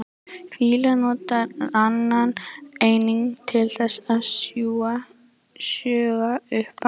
Fílar nota ranann einnig til þess að sjúga upp vatn.